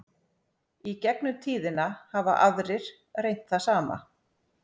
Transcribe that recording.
í gegnum tíðina hafa aðrir reynt það sama